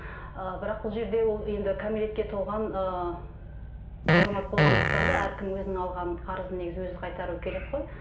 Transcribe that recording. ы бірақ бұл жерде ол енді кәмелетке толған ы азамат болғандықтан да әркім өзінің алған қарызын негізі өзі қайтару керек қой